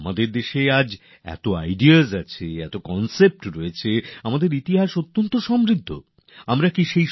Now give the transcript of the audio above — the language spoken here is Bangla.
আমাদের দেশে এত ধ্যানধারনা আছে এত প্রত্যয়ী বিষয় রয়েছে দারুণ সমৃদ্ধ আমাদের ইতিহাস